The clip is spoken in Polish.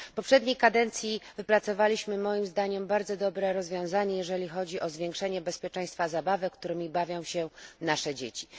W poprzedniej kadencji wypracowaliśmy, moim zdaniem, bardzo dobre rozwiązanie, jeżeli chodzi o zwiększenie bezpieczeństwa zabawek, którymi bawią się nasze dzieci.